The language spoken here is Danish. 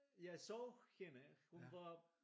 Jeg så hende hun var